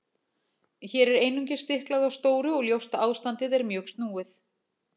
Hér er einungis stiklað á stóru og ljóst að ástandið er mjög snúið.